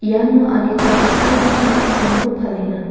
iano adita dal·dalgipa na·tokrangko palenga.